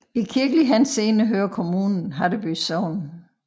I kirkelig henseende hører kommunen Haddeby Sogn